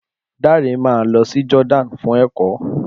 Dare máa lọ sí Jordan fún èkọ́